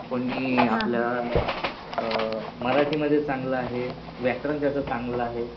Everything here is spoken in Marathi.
कुणी आपल्या मराठी मध्ये चांगलं आहे. व्याकरण त्याचं चांगलं आहे.